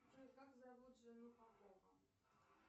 джой как зовут жену попова